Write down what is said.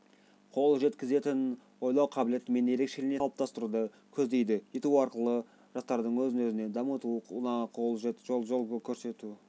қол жеткізетін ойлау қабілетімен ерекшеленетін тұлғаны қалыптастыруды көздейді ету арқылы жастардың өзін-өзі дамытуына жол көрсету